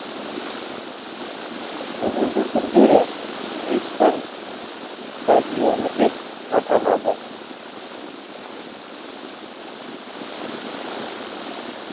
бүгінгі күндері ниссан стадионы деп аталады